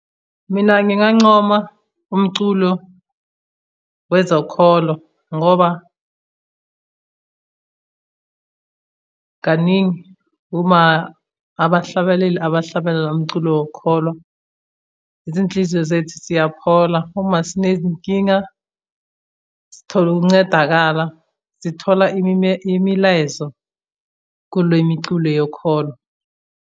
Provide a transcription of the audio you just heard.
Mina ngingancoma umculo wezokholo ngoba kaningi uma abahlabeleli abahlabelela umculo wokholo, izinhliziyo zethu siyakholwa uma sinezinkinga sithole ukuncedakala, sithola imilayezo kule miculo yokholo.